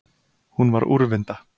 Hún var úrvinda.